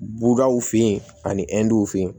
Bubaw fen yen ani w fe yen